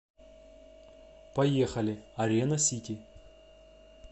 поехали арена сити